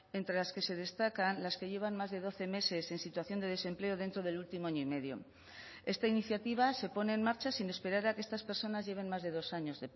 entre las que se destacan las que llevan más de doce meses en situación de desempleo dentro del último año y medio esta iniciativa se pone en marcha sin esperar a que estas personas lleven más de dos años